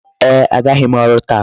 Ee, agaghị m ọrụ taa.